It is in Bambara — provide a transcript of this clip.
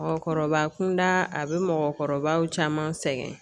Mɔgɔkɔrɔba kunda a bɛ mɔgɔkɔrɔbaw caman sɛgɛn